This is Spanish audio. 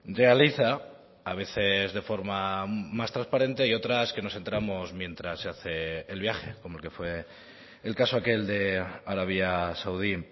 realiza a veces de forma más transparente y otras que nos entramos mientras se hace el viaje como el que fue el caso aquel de arabia saudí